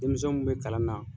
Denmisɛnw be kalan na.